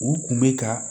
U kun bɛ ka